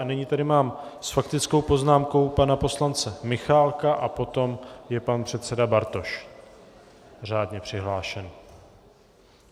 A nyní tady mám s faktickou poznámkou pana poslance Michálka a potom je pan předseda Bartoš, řádně přihlášený.